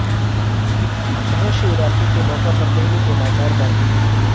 مہا شیوراتری کے موقع پر دہلی کے بازار بند